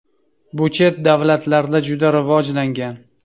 Bu chet davlatlarda juda rivojlangan.